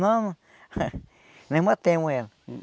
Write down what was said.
Não... Nós matemos ela.